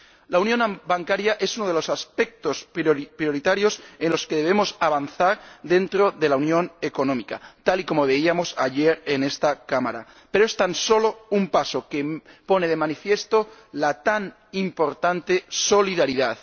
La unión bancaria es uno de los aspectos prioritarios en los que debemos avanzar dentro de la unión económica, tal y como veíamos ayer en esta Cámara, pero es tan solo un paso, que pone de manifiesto la tan importante solidaridad.